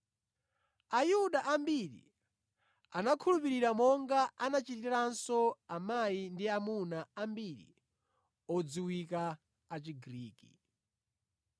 Ayuda ambiri anakhulupirira, monga anachitiranso amayi ndi amuna ambiri odziwika a Chigriki.